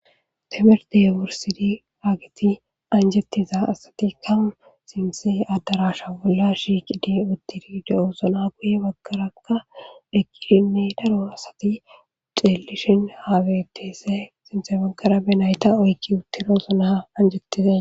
Temirde wursidi ageti anjettiza asatikka sinte addarasha bolla shiqidi uttiride7osona guye baggaraka deqqirime daro asati xelishin haawetese sinse baggara benayta oykki uttirosona anjettize.